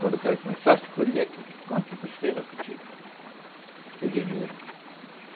Quando o cara começasse a colher, quanto precisa para ti ter dinheiro?